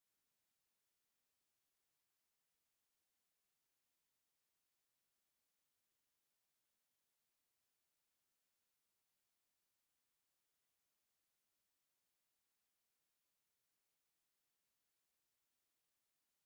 ዝተፈላለዩ ናይ ንግዲ ባልትናታት አለው፡፡ ንአብነት ሽሮ፣ በርበረ፣ ሕልበት፣ ቀመማ ቅመምን ቡናን መኮሪንን ወዘተ ይርከቡዎም፡፡ አረ! ክበዝሕ ቅመማ ቅመም መዳበርያታት መሊኡ ተዘርጊሑ አሎ፡፡